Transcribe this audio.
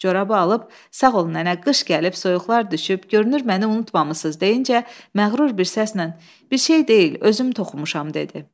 Corabı alıb, sağ ol nənə, qış gəlib, soyuqlar düşüb, görünür məni unutmamısınız deyincə, məğrur bir səslə bir şey deyil, özüm toxumuşam dedi.